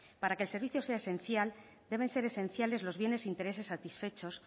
para que el servicio sea esencial deben ser esenciales los bienes intereses satisfechos